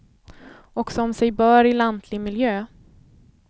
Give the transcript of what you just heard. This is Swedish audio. Och som sig bör i lantlig miljö.